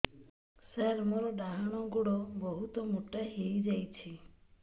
ସାର ମୋର ଡାହାଣ ଗୋଡୋ ବହୁତ ମୋଟା ହେଇଯାଇଛି